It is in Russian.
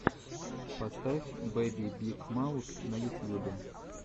поставь бэби биг маус на ютьюбе